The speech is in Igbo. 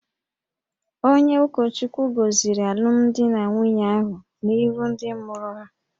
Onye ụkọchukwu goziri alumdi na nwunye ahụ n'ihu ndị mụrụ ha